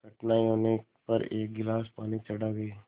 कठिनाई होने पर एक गिलास पानी चढ़ा गए